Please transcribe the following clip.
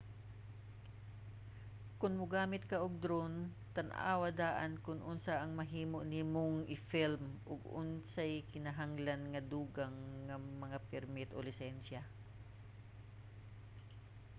kon mogamit ka og drone tan-awa daan kon unsa ang mahimo nimong i-film ug unsay kinahanglan nga dugang nga mga permit o lisensya